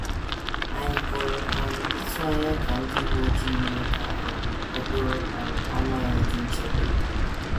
Ànyị pụrụ um ịtụ anya ka ndị uwe ojii mee ka um okporo um ámá anyị dị nchebe?